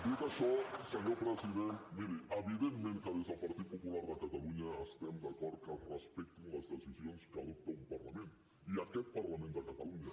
dit això senyor president miri evidentment que des del partit popular de catalunya estem d’acord que es respectin les decisions que adopta un parlament i aquest parlament de catalunya